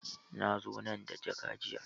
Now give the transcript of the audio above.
Na zo nan da jaka jiya.